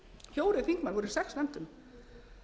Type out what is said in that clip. fjórir þingmanna ár í sex nefndum